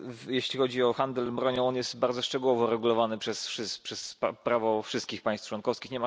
Jeśli chodzi o handel bronią, jest on bardzo szczegółowo regulowany przez prawo wszystkich państw członkowskich.